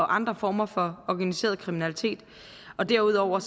andre former for organiseret kriminalitet derudover